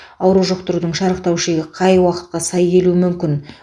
ауру жұқтырудың шарықтау шегі қай уақытқа сай келуі мүмкін